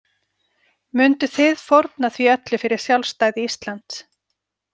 Munduð þið fórna því öllu fyrir sjálfstæði Íslands?